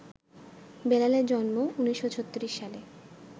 বেলালের জন্ম ১৯৩৬ সালে